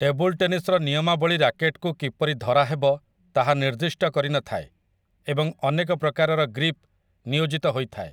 table ଟେନିସ୍ର ନିୟମାବଳୀ ରାକେଟ୍‌କୁ କିପରି ଧରାହେବ ତାହା ନିର୍ଦ୍ଦିଷ୍ଟ କରି ନଥାଏ ଏବଂ ଅନେକ ପ୍ରକାରର ଗ୍ରିପ୍ ନିୟୋଜିତ ହୋଇଥାଏ